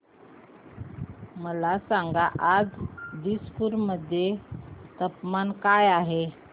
मला सांगा आज दिसपूर मध्ये तापमान काय आहे